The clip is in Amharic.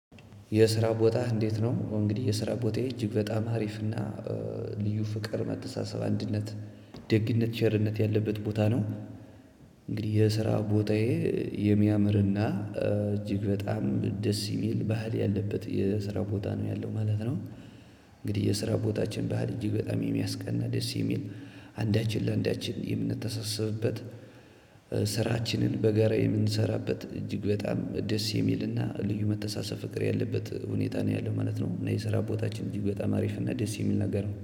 የስራ ቦታህ እንዴት ነው? እንግዲህ የስራ ቦታዬ እጅግ በጣም አሪፍና ልዩ ፍቅር መተሳሰብ አንድነት ደግነት ቸርነት ያለበት ቦታ ነው። እንግዲህ የስራ ቦታዬ የሚያምርና እጅግ በጣም ደስ ሚል ባህል ያለበት የስራ ቦታ ነው ያለው ማለት ነው። እንግዲህ የስራ ቦታችን በሀል እጅግ በጣም የሚያስቀና ደስ የሚል አንዳችን ለአንዳችን የምንተሳሰብበት። ስራችንን በጋራ የምንሰራበት እጅግ በጣም ደስ የሚልና ልዩ መተሳሰብ ፍቅር ያለበት ሁኔታ ነው ያለው ማለት ነው። እና የስራ ቦታችን ይበጣ ማሪፍ እና ደስ የሚል ነገር ነው